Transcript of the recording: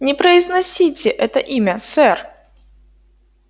не произносите это имя сэр